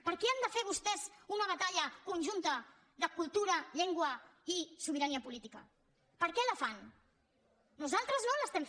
per què han de fer vostès una batalla conjunta de cultura llengua i sobirania política per què la fan nosaltres no la fem